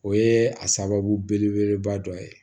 O ye a sababu belebeleba dɔ ye